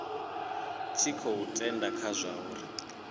tshi khou tenda kha zwauri